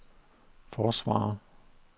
forsvarer